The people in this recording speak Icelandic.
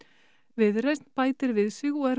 viðreisn bætir við sig og er